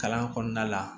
Kalan kɔnɔna la